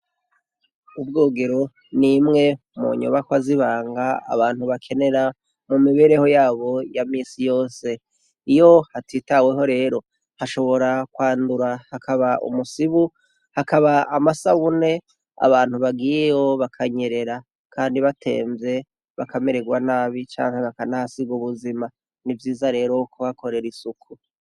Ubwogero, nimwe mu nyubakwa zibanga abantu bakenera mu mibereho yabo ya minsi yose. Iyo hatitaweho rero bashobora kwandura hakaba umusibu, hakaba amasabune abantu bagiyeyo bakanyerera. Kandi batemvye, bakamererwa nabi canke bakanahasiga ubuzima . Ni vyiza rero kuhakorera isuku.